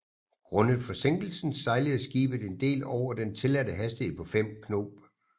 Grundet forsinkelsen sejlede skibet en del over den tilladte hastighed på 5 knob